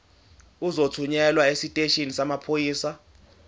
uzothunyelwa esiteshini samaphoyisa